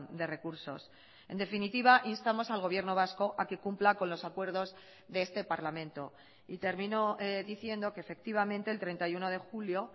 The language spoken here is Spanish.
de recursos en definitiva instamos al gobierno vasco a que cumpla con los acuerdos de este parlamento y termino diciendo que efectivamente el treinta y uno de julio